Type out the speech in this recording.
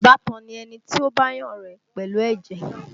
Ìbátan ni ẹni tí ó bá yàn rẹ́ pẹ̀lú ẹ̀jẹ̀